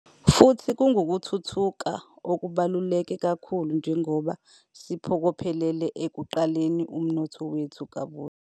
Futhi kungukuthuthuka okubalulekile kakhulu njengoba siphokophelele ekuqaleni umnotho wethu